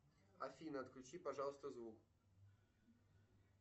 афина отключи пожалуйста звук